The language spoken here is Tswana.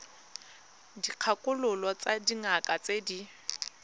dikgakololo tsa dingaka tse di